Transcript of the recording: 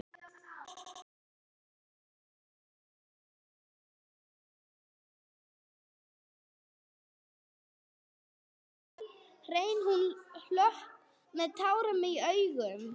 hrein hún klökk með tár í augum.